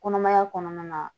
Kɔnɔmaya kɔnɔna na